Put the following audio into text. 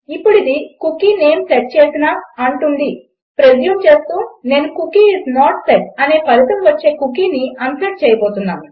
ఇప్పుడు ఇది cookie name set అంటుందని ప్రెస్యూమ్ చేస్తూ నేను కుకీ ఐఎస్ నోట్ సెట్ అనే ఫలితం వచ్చే కుకీని అన్సెట్ చేయబోతున్నాను